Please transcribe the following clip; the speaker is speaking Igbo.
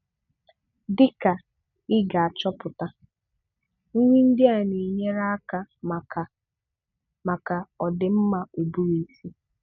Dịka ị ga-achọpụta, nri ndị a na-enyere aka maka maka ọdịmma ụbụrụisi: